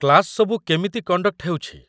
Class ସବୁ କେମିତି conduct ହେଉଛି?